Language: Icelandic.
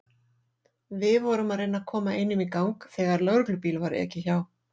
Við vorum að reyna að koma einum í gang þegar lögreglubíl var ekið hjá.